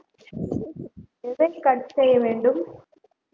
எதை cut செய்ய வேண்டும்